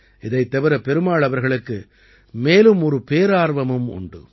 இதைத் தவிர பெருமாள் அவர்களுக்கு மேலும் ஒரு பேரார்வமும் உண்டு